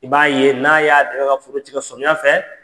I b'a ye n'a y'a dƐmɛ ka foro cikƐ samiya fɛ.